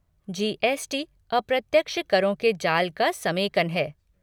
GST. अप्रत्यक्ष करों के जाल का समेकन है।